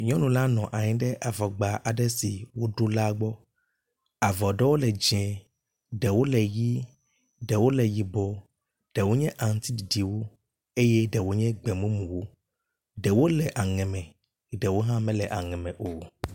Nyɔnu la nɔ anyi ɖe avɔgba aɖe si woɖo la gbɔ. Avɔ ɖewo le dzɛ̃, ɖewo le ʋi, ɖewo le yibɔ, ɖewo nye aŋutiɖiɖiwo eye ɖewo nye gbemumuwo. Ɖewo le aŋe me eye ɖewo mele aɖe me o.